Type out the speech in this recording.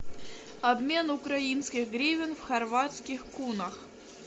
обмен украинских гривен в хорватских кунах